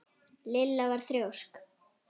Lilla var þrjósk.